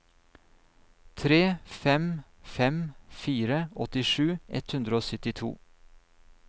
tre fem fem fire åttisju ett hundre og syttito